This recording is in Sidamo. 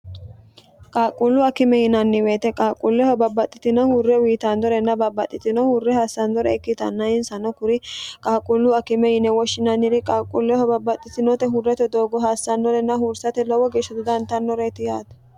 qaaqquullu akime yinanni woyete qaaqquulleho babbaxxitino hurre uyiitannorenna babbaxxitino hurre hassannore ikkitanna insano kuri qaaqquullu akime yine woshshinanniri qaaqquulleho babbaxxitinote huurrate doogo hassannorenna huursate lowo geeshsho dodantannoreeti yaate